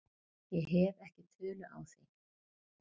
Ég hef ekki tölu á því.